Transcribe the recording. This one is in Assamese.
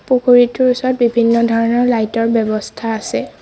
পুখুৰীটোৰ ওচৰত বিভিন্ন ধৰণৰ লাইট ৰ ব্যৱস্থা আছে।